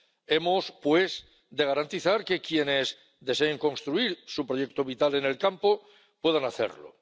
Hemos, pues, de garantizar que quienes deseen construir su proyecto vital en el campo puedan hacerlo.